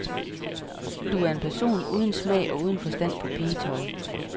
Du er en person uden smag og uden forstand på pigetøj.